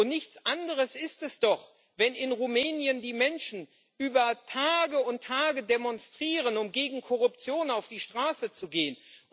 Nichts anderes ist es doch, wenn in Rumänien die Menschen über Tage und Tage demonstrieren, um gegen Korruption auf die Straße zu gehen.